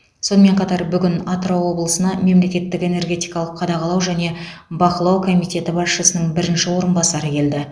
сонымен қатар бүгін атырау облысына мемлекеттік энергетикалық қадағалау және бақылау комитеті басшысының бірінші орынбасары келді